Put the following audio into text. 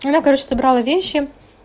я короче собрала вещи